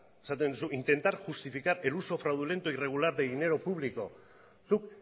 esaten duzu zuk intentar justificar el uso fraudulento e irregular de dinero público zuk